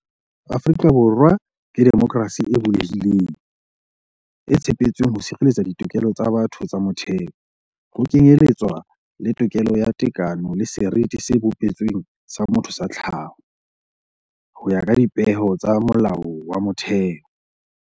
"Afrika Borwa ke demokrasi e bulehileng, e tshepetsweng ho sireletsa ditokelo tsa batho tsa motheo, ho kenyeletswa le tokelo ya tekano le seriti se bopeletsweng sa motho sa tlhaho, ho ya ka dipehelo tsa Molao wa Motheo."